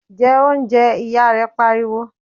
jẹ oúnjẹ! ìyá rẹ̀ pariwo